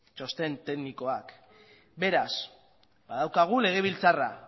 txosten teknikoak beraz badaukagu legebiltzarra